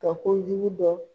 Ka kojugu dɔn